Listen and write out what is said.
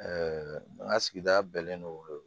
an ka sigida bɛɛ lo